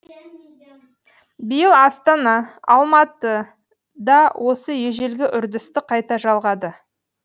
биыл астана алматы да осы ежелгі үрдісті қайта жалғады